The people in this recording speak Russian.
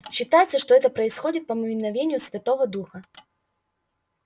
считается что это происходит по мановению святого духа